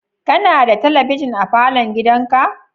Kana da talabijin a falon gidanka?